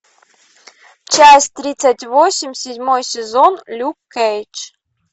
часть тридцать восемь седьмой сезон люк кейдж